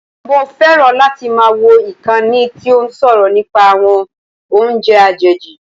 Mo fẹ́ràn láti máa wò ìkànnì tí ó ń sọ̀rọ̀ nípa àwọn oúnjẹ àjèjì